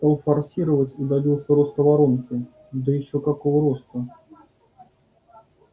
стал форсировать и добился роста воронки да ещё какого роста